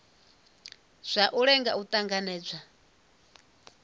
zwauri u lenga u tanganedzwa